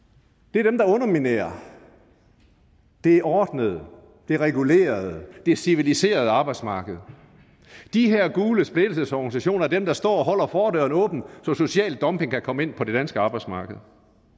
det er dem der underminerer det ordnede det regulerede det civiliserede arbejdsmarked de her gule splittelsesorganisationer er dem der står og holder fordøren åben så social dumping kan komme ind på det danske arbejdsmarked